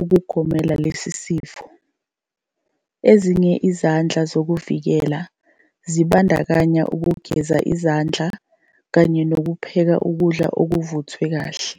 ukugomela lesi sifo. Ezinye izindlela zokuvikela zibandakanya ukugeza izandla kanye nokupheka ukudla kuvuthwe kahle.